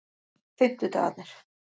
fimmtudagarnir